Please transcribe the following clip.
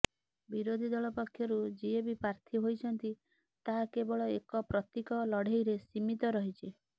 ବିରୋଧୀ ଦଳ ପକ୍ଷରୁ ଯିଏ ବି ପ୍ରାର୍ଥୀ ହୋଇଛନ୍ତି ତାହା କେବଳ ଏକ ପ୍ରତୀକ ଲଢେଇରେ ସୀମିତ ରହିଛି